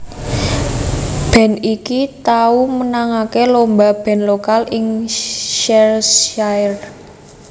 Band iki tau menangake lomba band lokal ing Cheshirre